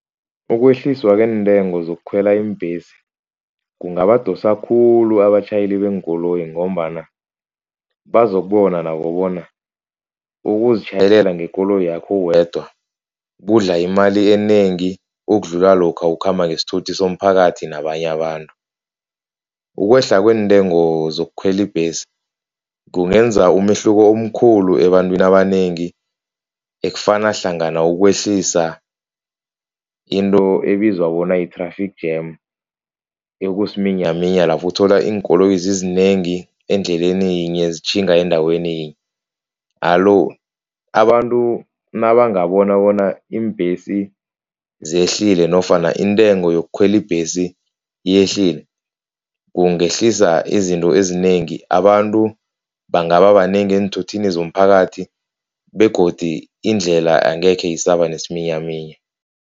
Ukwehliswa kweentengo zokukhwela iimbhesi, kungabadosa khulu abatjhayeli beenkoloyi ngombana bazokubona nabo bona ukuzitjhayelela ngekoloyi yakho wedwa kudla imali enengi ukudlula lokha ukhamba ngesithuthi somphakathi nabanye abantu. Ukwehla kweentengo zokukhwela ibhesi kungenza umehluko omkhulu ebantwini abanengi, ekufaka hlangana ukwehlisa into ebizwa bona yi-traffic jam ekusiminyaminya lapho uthola iinkoloyi zizinengi endleleni yinye zitjhinga endaweni yinye. Alo, abantu nabangabona bona iimbhesi zehlile nofana intengo yokukhwela ibhesi yehlile, kungehlisa izinto ezinengi. Abantu bangaba banengi eenthuthini zomphakathi begodi indlela angekhe isaba nesiminyaminya.